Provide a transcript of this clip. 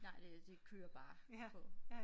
Nej det det kører bare på